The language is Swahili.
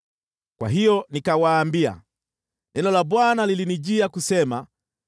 Kwa hiyo nikawaambia, “Neno la Bwana lilinijia kusema: